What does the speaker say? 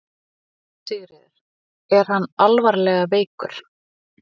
Sigríður: Er hann alvarlega veikur?